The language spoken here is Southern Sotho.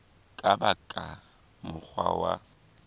ka ba ka mokgwa wa